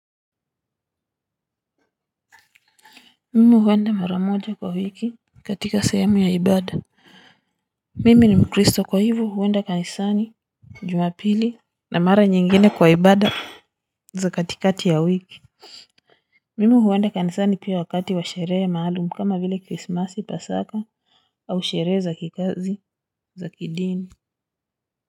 Mimi huenda mara moja kwa wiki katika sehemu ya ibada. Mimi ni mkristo kwa hivyo huenda kanisani jumapili na mara nyingine kwa ibada za katikati ya wiki. Mimi huenda kanisani pia wakati wa sherehe maalum kama vile krismasi pasaka au sherehe za kikazi za kidini.